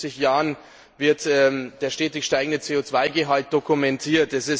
Seit 50 Jahren wird der stetig steigende CO Gehalt dokumentiert.